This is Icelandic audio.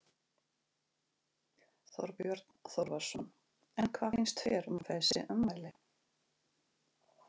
Þorbjörn Þórðarson: En hvað finnst þér um þessi ummæli?